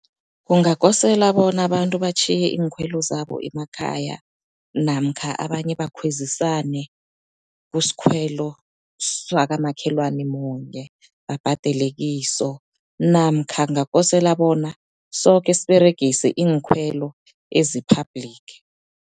Kungakosela bona abantu batjhiye iinkhwelo zabo emakhaya, namkha abanye bakhwezisane kusikhwelo swakamakhelwana munye babhadele kiso. Namkha kungakosela bona soke siberegise iinkhwelo ezi-public.